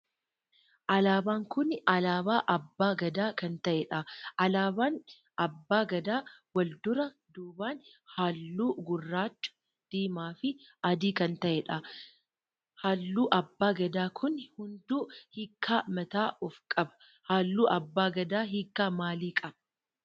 Alaabaan kun alaabaa abbaa Gadaa kan ta'edha. Alaabaan abbaa Gadaa wal duraa duuban halluu gurraacha, diimaa fi adii kan ta'edha. Halluu abbaa Gadaa kun hunduu hiika mataa of qaba. Halluu abbaa Gadaa hiika maalii qaba?